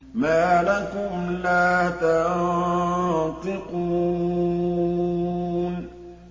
مَا لَكُمْ لَا تَنطِقُونَ